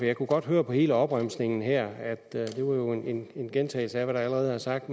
jeg kunne godt høre på hele opremsningen her at det jo var en gentagelse af hvad der allerede er sagt